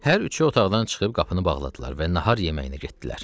Hər üçü otaqdan çıxıb qapını bağladılar və nahar yeməyinə getdilər.